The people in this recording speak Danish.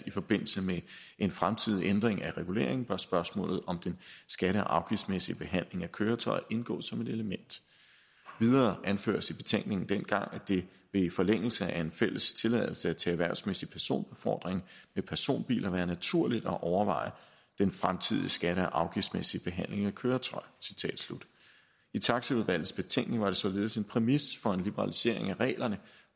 i forbindelse med en fremtidig ændring af reguleringen bør spørgsmålet om den skatte og afgiftsmæssige behandling af køretøjer indgå som et element videre anføres det i betænkningen dengang vil det i forlængelse af en fælles tilladelse til erhvervsmæssig personbefordring med personbiler være naturligt at overveje den fremtidige skatte og afgiftsmæssige behandling af køretøjer i taxaudvalgets betænkning var det således en præmis for en liberalisering af reglerne